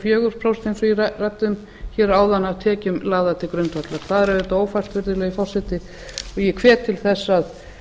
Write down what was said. fjögur prósent eins og ég ræddi um hér áðan af tekjum lagðar til grundvallar það er auðvitað ófært virðulegi forseti og ég hvet til þess